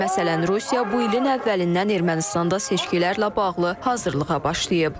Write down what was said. Məsələn, Rusiya bu ilin əvvəlindən Ermənistanda seçkilərlə bağlı hazırlığa başlayıb.